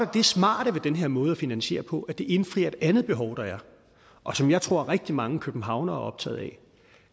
det smarte ved den her måde at finansiere på at det indfrier et andet behov der er og som jeg tror rigtig mange københavnere er optaget af